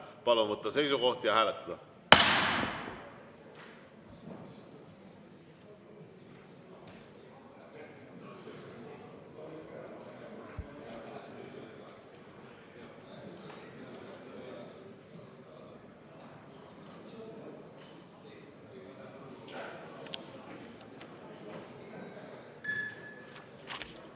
Palun võtta seisukoht ja hääletada!